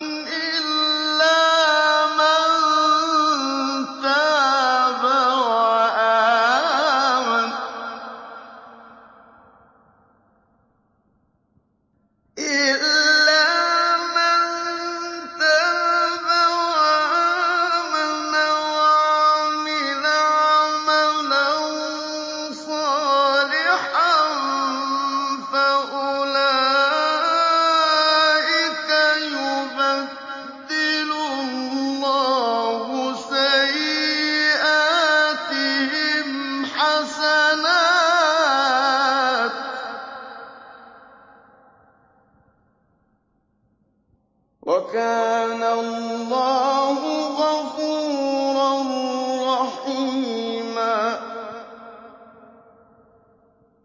إِلَّا مَن تَابَ وَآمَنَ وَعَمِلَ عَمَلًا صَالِحًا فَأُولَٰئِكَ يُبَدِّلُ اللَّهُ سَيِّئَاتِهِمْ حَسَنَاتٍ ۗ وَكَانَ اللَّهُ غَفُورًا رَّحِيمًا